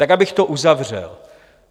Tak abych to uzavřel.